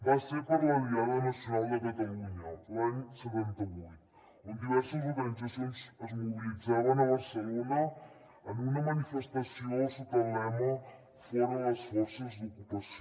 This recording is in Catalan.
va ser per la diada nacional de catalunya l’any setanta vuit on diverses organitzacions es mobilitzaven a barcelona en una manifestació sota el lema fora les forces d’ocupació